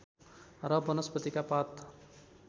र वनस्पतिका पात